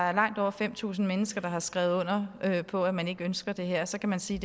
er langt over fem tusind mennesker der har skrevet under på at man ikke ønsker det her og så kan man sige